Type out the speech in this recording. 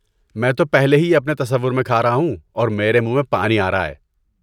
میں تو پہلے ہی یہ اپنے تصور میں کھا رہاہوں اور میرے منہ میں پانی آ رہا ہے۔